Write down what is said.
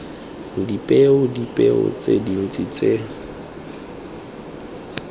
dipeo dipeo tse dintse tse